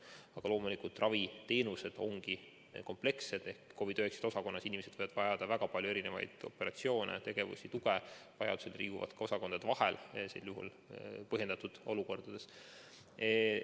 Aga loomulikult, raviteenused ongi komplekssed ehk COVID‑19 osakonnas inimesed võivad vajada väga palju operatsioone, tegevusi, tuge, vajaduse korral inimesed liiguvad ka osakondade vahel, kui see on selles olukorras põhjendatud.